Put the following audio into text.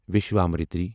Vishwamitri